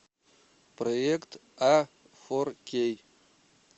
проект а фор кей